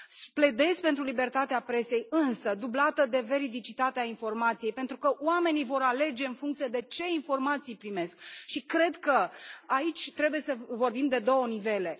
Pledez pentru libertatea presei, însă dublată de veridicitatea informației, pentru că oamenii vor alege în funcție de ce informații primesc și cred că aici trebuie să vorbim de două niveluri.